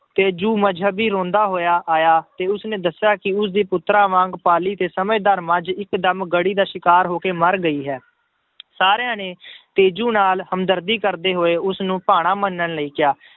ਤੇਜੂ ਮਜ਼ਹਬੀ ਰੋਂਦਾ ਹੋਇਆ ਆਇਆ ਤੇ ਉਸਨੇ ਦੱਸਿਆ ਕਿ ਉਸਦੇ ਪੁੱਤਰਾਂ ਵਾਂਗ ਪਾਲੀ ਤੇ ਸਮਝਦਾਰ ਮੱਝ ਇੱਕਦਮ ਗੜੀ ਦਾ ਸ਼ਿਕਾਰ ਹੋ ਕੇ ਮਰ ਗਈ ਹੈ ਸਾਰਿਆਂ ਨੇ ਤੇਜੂ ਨਾਲ ਹਮਦਰਦੀ ਕਰਦੇ ਹੋਏ ਉਸਨੂੰ ਭਾਣਾ ਮੰਨਣ ਲਈ ਕਿਹਾ।